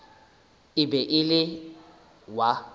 e be e le wa